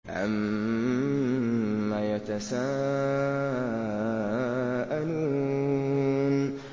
عَمَّ يَتَسَاءَلُونَ